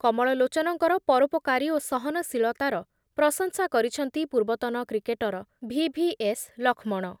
କମଳଲୋଚନଙ୍କର ପରୋପକାରୀ ଓ ସହନଶୀଳତାର ପ୍ରଶଂସା କରିଛନ୍ତି ପୂର୍ବତନ cricketer V V S Laxman.